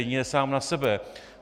Jedině sám na sebe.